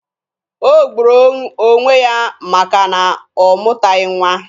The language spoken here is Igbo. O gburu onwe ya maka na ọ mụtaghị nwa.